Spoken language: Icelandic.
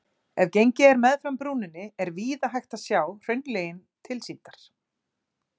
Ef gengið er meðfram brúninni er víða hægt að sjá hraunlögin tilsýndar.